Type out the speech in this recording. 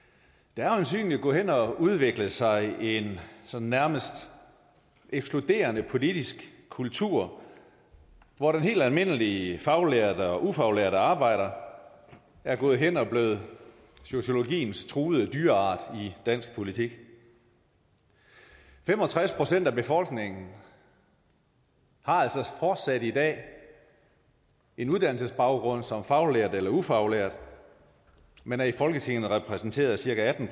der har øjensynlig gået hen og udviklet sig en sådan nærmest ekskluderende politisk kultur hvor den helt almindelige faglærte og ufaglærte arbejder er gået hen og blevet sociologiens truede dyreart i dansk politik fem og tres procent af befolkningen har altså fortsat i dag en uddannelsesbaggrund som faglært eller ufaglært men er i folketinget repræsenteret af cirka atten